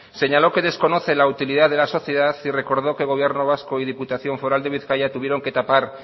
señaló que desconoce la utilidad de la sociedad y recordó que gobierno vasco y diputación foral de bizkaia tuvieron que tapar